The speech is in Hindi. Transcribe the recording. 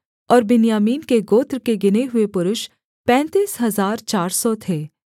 और बिन्यामीन के गोत्र के गिने हुए पुरुष पैंतीस हजार चार सौ थे